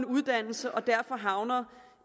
uddannelse og derfor havner